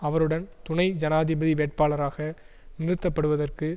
அவருடன் துணை ஜனாதிபதி வேட்பாளராக நிறுத்தப்படுவதற்கு